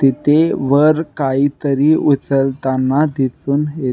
तिथे वर काहीतरी उचलताना दिसुन येत--